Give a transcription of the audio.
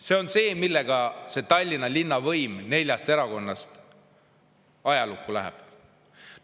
See on see, millega see Tallinna linnavõim, mis koosneb neljast erakonnast, ajalukku läheb.